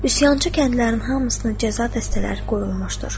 Üsyançı kəndlərin hamısına cəza dəstələri qoyulmuşdur.